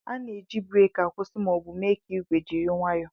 A na-eji breeki akwụsị ma ọ bụ mee ka igwe jiri nwayoo